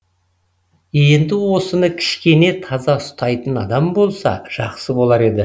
енді осыны кішкене таза ұстайтын адам болса жақсы болар еді